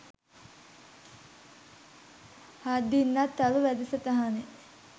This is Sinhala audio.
හත්දින්නත් තරු වැඩසටහනේ